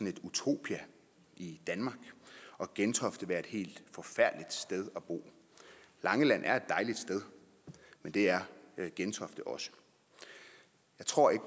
et utopia i danmark og gentofte skulle være et helt forfærdeligt sted at bo langeland er et dejligt sted men det er gentofte også og jeg tror ikke